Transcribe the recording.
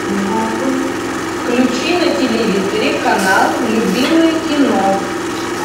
включи на телевизоре канал любимое кино